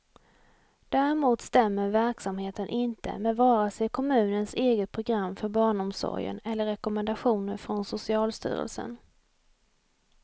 Däremot stämmer verksamheten inte med vare sig kommunens eget program för barnomsorgen eller rekommendationer från socialstyrelsen.